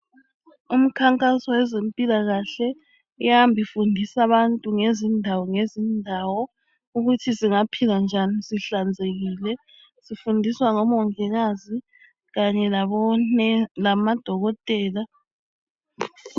Umikhankaso yezempilakahle iyahamba ifundisa abantu ngezindawongezindawo ukuthi singaphila njani sihlanzekile. Sifundiswa ngomongikazi kanye labonesi lamadokotela.